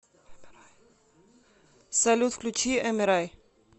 салют включи эмерай